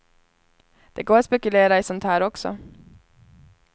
Det går att spekulera i sånt här också.